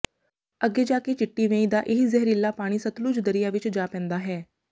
ਅੱਗੇ ਜਾ ਕੇ ਚਿੱਟੀ ਵੇਈਂ ਦਾ ਇਹੀ ਜ਼ਹਿਰੀਲਾ ਪਾਣੀ ਸਤਲੁਜ ਦਰਿਆ ਵਿੱਚ ਜਾ ਪੈਂਦਾ ਹੈ